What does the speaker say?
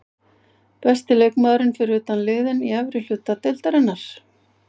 Besti leikmaðurinn fyrir utan liðin í efri hluta deildarinnar?